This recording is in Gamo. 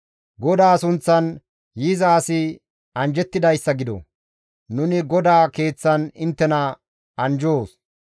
GODAA sunththan yiza asi anjjettidayssa gido! Nuni GODAA Keeththan inttena anjjoos.